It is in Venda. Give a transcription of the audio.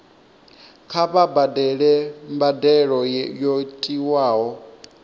kha vha badele mbadelo yo tiwaho